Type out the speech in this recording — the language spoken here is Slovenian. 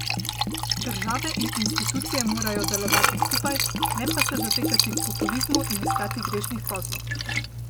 Države in institucije morajo delovati skupaj, ne pa se zatekati k populizmu in iskati grešnih kozlov.